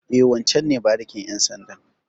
E, wancen ne barikin ƴan sandan.